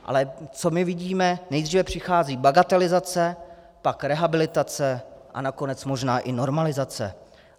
Ale co my vidíme: nejdříve přichází bagatelizace, pak rehabilitace a nakonec možná i normalizace.